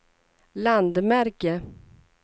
landmärke